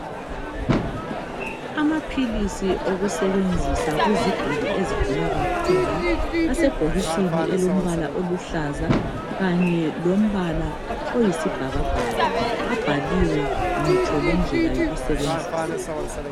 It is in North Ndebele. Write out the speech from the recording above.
Amaphilisi okusebenzisa kuziguli ezigula kakhulu asebhokisini elombala oluhlaza kanye lombala oyisibhakabhaka abhaliwe ngitsho lendlela yokusebenzisa.